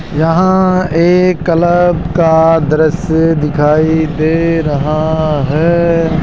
यहां एक क्लब का दृश्य दिखाई दे रहा है।